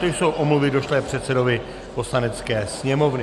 To jsou omluvy došlé předsedovi Poslanecké sněmovny.